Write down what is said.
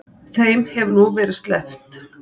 Þeim hefur nú verið sleppt.